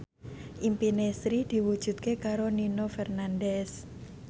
impine Sri diwujudke karo Nino Fernandez